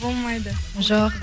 болмайды жоқ